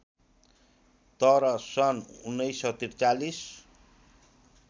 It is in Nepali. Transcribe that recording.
तर सन् १९४३